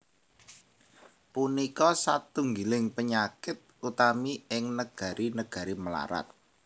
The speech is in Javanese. Punika satunggiling panyakit utami ing negari negari mlarat